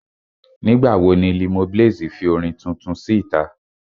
Nígbà wo ni Limoblaze fi orin tuntun sí ìta?